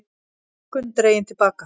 Hækkun dregin til baka